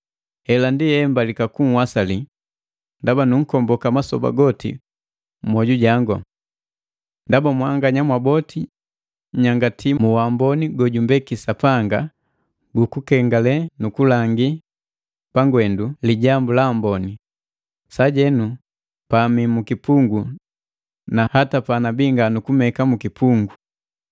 Hela ndi embalika kunhwasali, ndaba nunkomboka masoba goti mmwoju jangu. Ndaba mwanganya mwaboti nnyangati mu waamboni gojumbeki Sapanga gukukengale nukulangi pangwendu Lijambu la Amboni, sajenu pa mi mukipungu na hata panabi nga nukumeka mukipungu.